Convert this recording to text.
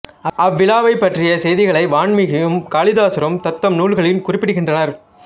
அவ்விழாவை பற்றிய செய்திகளை வான்மீகியும் காளிதாசரும் தத்தம் நூல்களில் குறிப்பிடுகின்றனர்